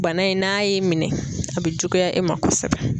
Bana in n'a y'i minɛ a bɛ juguya e ma kosɛbɛ.